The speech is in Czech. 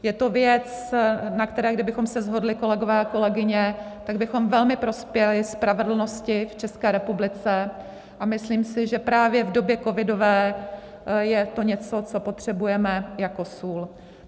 Je to věc, na které kdybychom se shodli, kolegové a kolegyně, tak bychom velmi prospěli spravedlnosti v České republice, a myslím si, že právě v době covidové je to něco, co potřebujeme jako sůl.